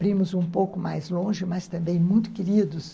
Primos um pouco mais longe, mas também muito queridos.